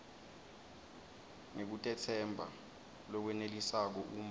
ngekutetsemba lokwenelisako uma